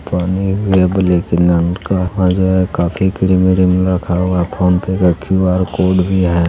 पानी भी है ब्लैक किन रंग का काफी क्रीम - उरीम रखा हुआ फोन पे का क्यू.आर. कोड भी है।